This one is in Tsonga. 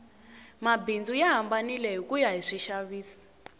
mabindzu ya hambanile hikuya hi swixavisi